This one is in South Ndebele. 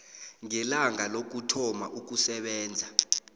ngelanga lokuthoma ukusebenza